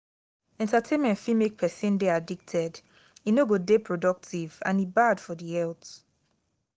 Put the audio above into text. entertainment fit make persin de addicted e no go de productive and e bad for di health